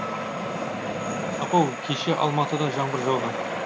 апау кеше алматыда жаңбыр жауды